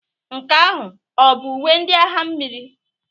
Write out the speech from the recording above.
Nke ahụ ọ bụ uwe ndị agha mmiri?